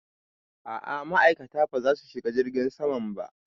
A'a ma'aikata ba za su shiga jirgin saman ba